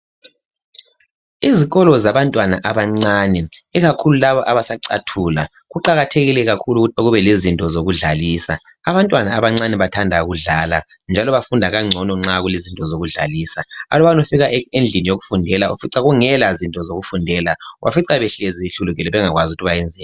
Izikolo zabantwana abancane, ikakhulu labo abasacathula kuqakathekile kakhulu ukuthi kube lezinto zokudlalisa. Abantwana abancane bathanda ukudlala, njalo bafunda kangcono nxa kulezinto zokudlalisa. Aluba ufika endlini yokufundela ufica kungela zinto zokufundela. Ubafica behlezi behlulukelwe bengakwazi ukuthi bayenzeni.